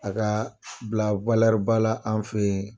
A ka bila ba la an fɛ ye.